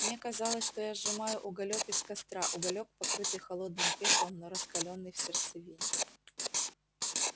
мне казалось что я сжимаю уголёк из костра уголёк покрытый холодным пеплом но раскалённый в сердцевине